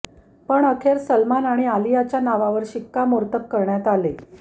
पण अखेर सलमान आणि आलियाच्या नावावर शिक्कामोर्तब करण्यात आले